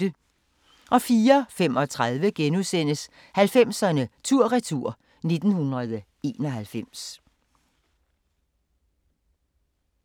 04:35: 90'erne tur-retur: 1991 *